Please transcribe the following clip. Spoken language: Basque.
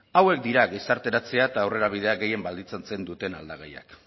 hauek dira gizarteratzea eta aurrerabidea gehien baldintzatzen duten aldagaiak